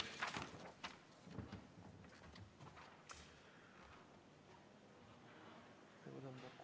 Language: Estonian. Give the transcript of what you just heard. Aitäh!